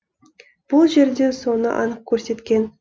бұл жерде соны анық көрсеткен